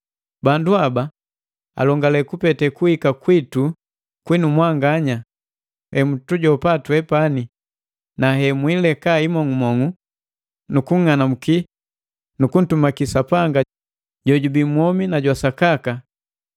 Bandu haba alongele kupete kuhika kwitu kwinu mwanganya, hemutujopa twepani, na hemwiileka imong'umong'u, nu kung'anambuki nukuntumaki Sapanga jojubi mwomi na jwa sakaka,